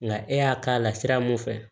Nka e y'a k'a la sira mun fɛ